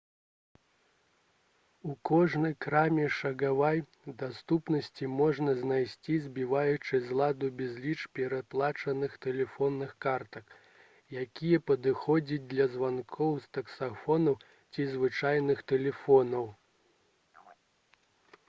у кожнай краме шагавай даступнасці можна знайсці збіваючы з ладу безліч перадаплачаных тэлефонных картак якія падыходзяць для званкоў з таксафонаў ці звычайных тэлефонаў